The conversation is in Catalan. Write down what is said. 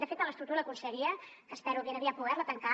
de fet en l’estructura de la conselleria que espero ben aviat poder la tancar